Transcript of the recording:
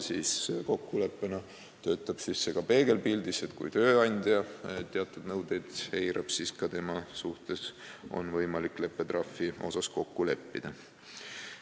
Kokkulepe töötab ka peegelpildis: kui tööandja teatud nõudeid eirab, siis ka tema suhtes on võimalik leppetrahvi asjus kokku leppida.